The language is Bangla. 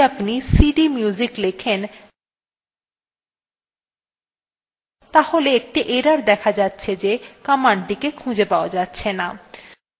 এখন পুনরায় terminal এ যদি আপনি cdmusic লেখেন তাহলে একটি error দেখা যাচ্ছে যে commandthe কে খুঁজে পাওয়া যাচ্ছেনা